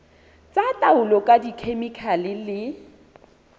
tsa taolo ka dikhemikhale le